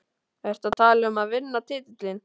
Ertu að tala um að vinna titilinn?